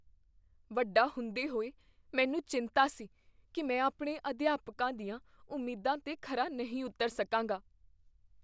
ਵੱਡਾ ਹੁੰਦੇ ਹੋਏ, ਮੈਨੂੰ ਚਿੰਤਾ ਸੀ ਕੀ ਮੈਂ ਆਪਣੇ ਅਧਿਆਪਕਾਂ ਦੀਆਂ ਉਮੀਦਾਂ 'ਤੇ ਖਰਾ ਨਹੀਂ ਉੱਤਰ ਸਕਾਂਗਾ।